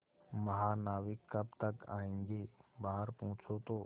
महानाविक कब तक आयेंगे बाहर पूछो तो